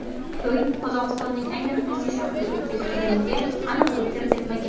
To‘y Qozog‘istonning aynan qaysi shahrida o‘tkazilganligiga aniqlik kiritilmagan.